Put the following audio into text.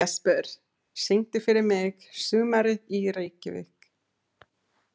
Jesper, syngdu fyrir mig „Sumarið í Reykjavík“.